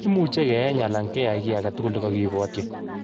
Imuche keyeny alan keyai kei agetugul nekokipwotyi.